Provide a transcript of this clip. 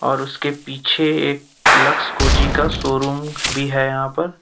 और उसके पीछे एक लक्स कोजी का शोरूम भी है यहां पर।